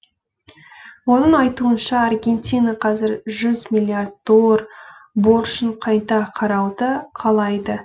оның айтуынша аргентина қазір жүз миллиард доллар борышын қайта қарауды қалайды